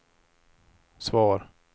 svar